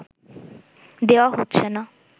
দেওয়া হচ্ছে না